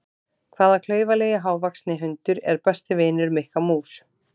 Hvaða klaufalegi hávaxni hundur er besti vinur Mikka mús?